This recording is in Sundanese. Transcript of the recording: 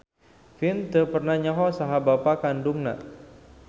Vin teu pernah nyaho saha bapa kandungna.